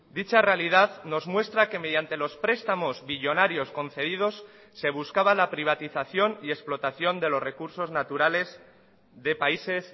dicha realidad nos muestra que mediante los prestamos billonarios concedidos se buscaba la privatización y explotación de los recursos naturales de países